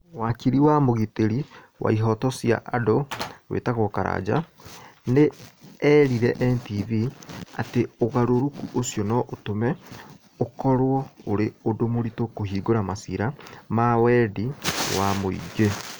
Wakili na mũgitĩri wa ĩhooto cĩa andũ wĩtagwo Karanja, nĩ eerire NTV atĩ ũgarũrũku ũcio no ũtũme ũkorũo ũrĩ ũndũ mũritũ kũhingũra maciira ma wendi wa mũingĩ.